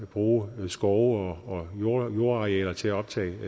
at bruge skove og jordarealer til at optage